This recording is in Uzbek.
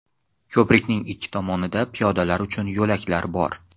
Ko‘prikning ikki tomonida piyodalar uchun yo‘laklar bor.